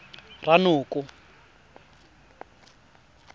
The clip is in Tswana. ranoko